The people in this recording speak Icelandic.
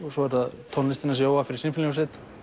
svo er það tónlistin hans Jóa fyrir sinfóníuhljómsveit og